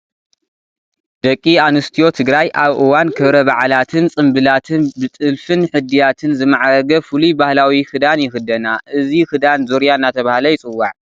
ደቂ ኣንስትዮ ትግራይ ኣብ እዋን ክብረ በዓላትን ፅንብላትን ብጥልፍን ሕድያትን ዝማዕረገ ፍሉይ ባህላዊ ክዳን ይኽደና፡፡ እዚ ክዳን ዙርያ እናተባህለ ይፅዋዕ፡፡